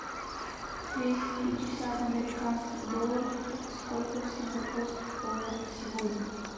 двести пятьдесят американских долларов это сколько в сингапурских долларах сегодня